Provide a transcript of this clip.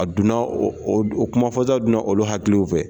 A donna o kumafɔta donna olu hakili fɛ